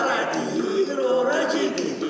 Kim hara deyir, ora gedir.